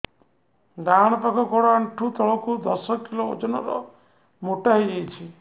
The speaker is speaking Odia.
ଡାହାଣ ପାଖ ଗୋଡ଼ ଆଣ୍ଠୁ ତଳକୁ ଦଶ କିଲ ଓଜନ ର ମୋଟା ହେଇଯାଇଛି